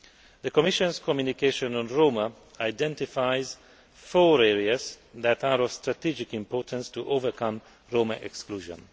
The Commission's Communication on Roma identifies four areas that are of strategic importance to overcome Roma exclusion.